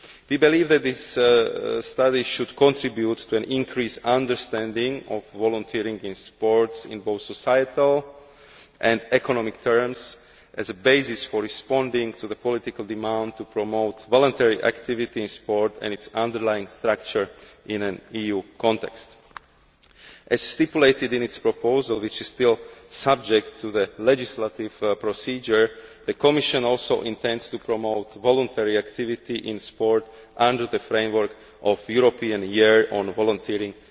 We believe that this study should contribute to an increased understanding of volunteering in sports, in both societal and economic terms, as a basis for responding to the political demand to promote voluntary activities in sport and its underlying structure in an EU context. As stipulated in its proposal, which is still subject to the legislative procedure, the Commission also intends to promote voluntary activity in sport under the framework of European Year on Volunteering